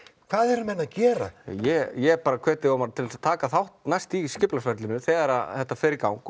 hvað eru menn að gera ég bara hvet þig Ómar til að taka þátt næst í skipulagsferlinu þegar þetta fer í gang